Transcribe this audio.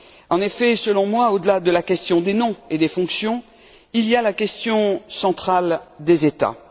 En effet, selon, moi, au delà de la question des noms et des fonctions, il y a la question centrale des États.